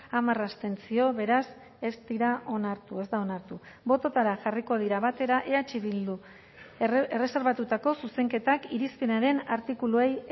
hamar abstentzio beraz ez dira onartu ez da onartu bototara jarriko dira batera eh bildu erreserbatutako zuzenketak irizpenaren artikuluei